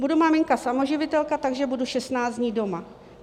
Budu maminka samoživitelka, takže budu 16 dní doma.